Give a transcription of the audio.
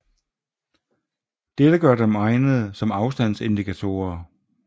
Dette gør dem egnede som afstandsindikatorer